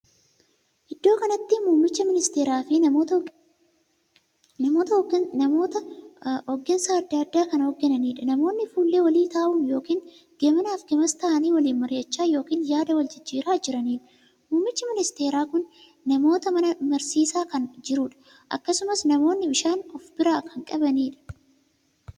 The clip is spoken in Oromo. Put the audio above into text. Iddoo kanatti muummicha misteeraa fi namoota hoggansa addaa addaa kan hoggananiidha. namoonni fuullee walii taa'uun ykn gamana fi gamas taa'anii waliin mari'achaa ykn yaada wal jijjiiraa jiranidha. muummichi misteeraa kun namoota kana mariisisaa kan jirudha. akkasumas namoonni bishaan of bira kan qbanidha.